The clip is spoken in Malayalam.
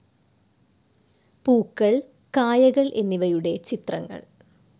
പൂക്കൾ, കായകൾ എന്നിവയുടെ ചിത്രങ്ങൾ